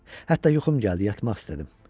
Hətta yuxum gəldi, yatmaq istədim.